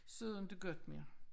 Så er det ikke godt mere